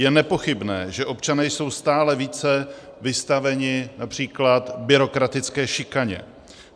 Je nepochybné, že občané jsou stále více vystaveni například byrokratické šikaně.